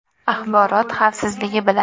Axborot xavfsizligi bilan.